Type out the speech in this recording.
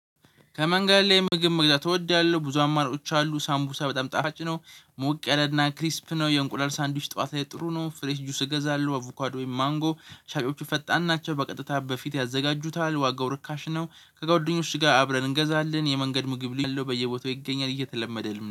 ከመንገድ ላይ ምግብ መግዛት እወዳለሁ ብዙ አማራጮች አሉ ሳምቡሳ በጣም ጣፋጭ ነው ሞቅ ያለና ክሪስፕ ነው። የእንቁላል ሳንድዊች ጠዋት ላይ ጥሩ ነው። ፍሬስ ጁስ እገዛለሁ አቩካዶ ወይም ማንጎ። ሻጮቹ ፈጣን ናቸው በቀጥታ በፊት ያዘጋጁታል። ዋጋው ርካሽ ነው። ከጓደኞቼ ጋር አብረን እንገዛለን የመንገድ ምግብ ል ያለው በየቦታው ይገኛል እየተለመደልን